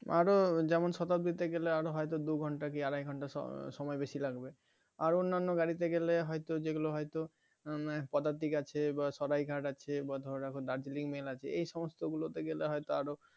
আরো যেমন Shatabdi তে গেলে আরো হয়তো দু'ঘণ্টা কি আড়াই ঘন্টা সময় বেশি লাগবে আরো অন্যান্য গাড়িতে গেলে হয়তো যেগুলো হয়তো Padatik আছে বা Saraighat আছে বা ধরে রাখো Darjeeling, Mail আছে এই যেগুলো গেলে হয়তো আরো